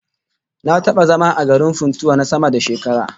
Na taba zama a garin Funtua na sama da shekara